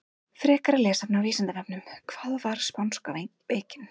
Frekara lesefni á Vísindavefnum: Hvað var spánska veikin?